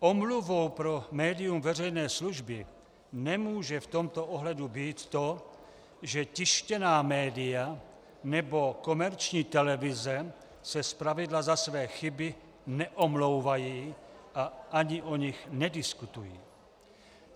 Omluvou pro médium veřejné služby nemůže v tomto ohledu být to, že tištěná média nebo komerční televize se zpravidla za své chyby neomlouvají a ani o nich nediskutují.